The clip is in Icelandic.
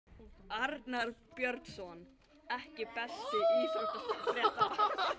Arnar Björnsson EKKI besti íþróttafréttamaðurinn?